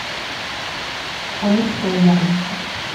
амурская ярмарка